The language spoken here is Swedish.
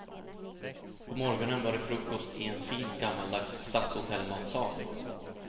På morgonen var det frukost i en fin gammaldags stadshotellmatsal.